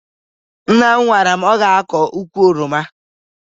Nna m gwara m na ọ ga-akọ ukwu oroma